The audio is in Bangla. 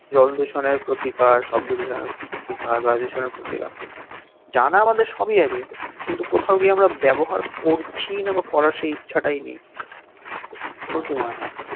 জল দূষণের প্রতিকার শব্দ দূষণের প্রতিকার বায়ু দূষণের প্রতিকার জানা আমাদের সবই আছে কিন্তু কোথাও গিয়ে আমরা ব্যবহার করছি না বা করার সেই ইচ্ছাটাই নেই তোর কি মনে হয়